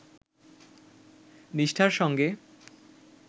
নিষ্ঠার সঙ্গে